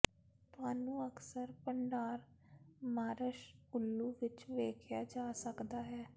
ਤੁਹਾਨੂੰ ਅਕਸਰ ਭੰਡਾਰ ਮਾਰਸ਼ ਉੱਲੂ ਵਿੱਚ ਵੇਖਿਆ ਜਾ ਸਕਦਾ ਹੈ